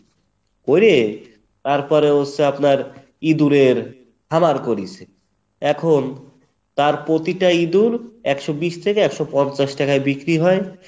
ধরে তারপরে হচ্ছে আপনার ইঁদুরের খামার করেছে, এখন তার প্রতিটা ইঁদুর একশো বিশ থেকে একশো পঞ্চাশ টাকায় বিক্রি হয়।